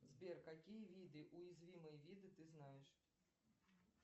сбер какие виды уязвимые виды ты знаешь